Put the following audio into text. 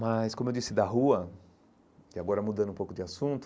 Mas, como eu disse, da rua, e agora mudando um pouco de assunto,